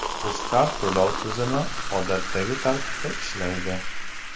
UZCARD to‘lov tizimi odatdagi tartibda ishlaydi.